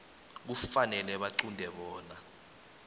kufanele baqunte bona